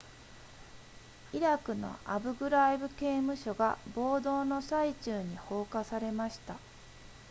イラクのアブグライブ刑務所が暴動の最中に放火されました